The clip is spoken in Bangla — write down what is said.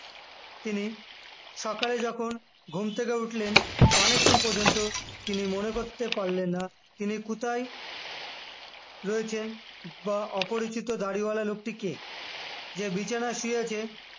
তিনি সকালে যখন ঘুম থেকে উঠলেন অনেকক্ষণ পর্যন্ত তিনি মনে করতে পারলেন না তিনি কোথায় রয়েছেন বা অপরিচিত দাড়িওয়ালা লোকটি কে যে বিছানায় শুয়েছে